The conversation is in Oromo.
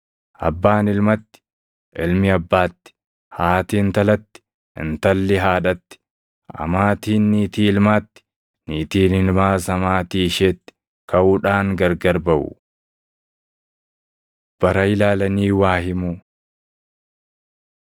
Abbaan ilmatti, ilmi abbaatti, haati intalatti, intalli haadhatti, amaatiin niitii ilmaatti, niitiin ilmaas amaatii isheetti kaʼuudhaan gargar baʼu.” Bara Ilaalanii Waa Himuu